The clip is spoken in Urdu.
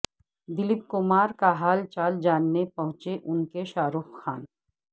دلیپ کمار کا حال چال جاننے پہنچے ان کے شاہ رخ خان